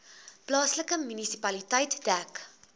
plaaslike munisipaliteit dek